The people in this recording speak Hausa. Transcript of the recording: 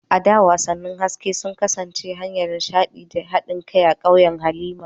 A da, wasannin hasken wata sun kasance hanyar nishaɗi da haɗin kai a ƙauyen Halima.